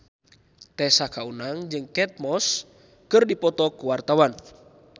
Tessa Kaunang jeung Kate Moss keur dipoto ku wartawan